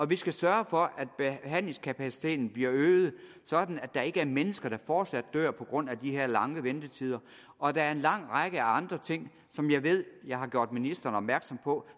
vi skal sørge for at behandlingskapaciteten bliver øget sådan at der ikke er mennesker der fortsat dør på grund af de her lange ventetider og der er en lang række af andre ting som jeg ved jeg har gjort ministeren opmærksom på